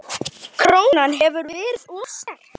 Krónan hefur verið of sterk.